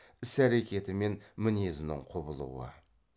іс әректі мен мінезінің құбылуы